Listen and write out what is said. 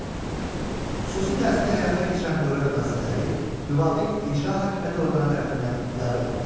Xüsusi təhsili həyata keçirən dövlət müəssisələri müvafiq icra hakimiyyəti orqanı tərəfindən idarə olunur.